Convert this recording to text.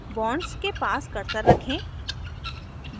bonds के पास cursor रखें